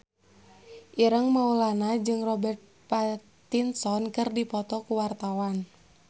Ireng Maulana jeung Robert Pattinson keur dipoto ku wartawan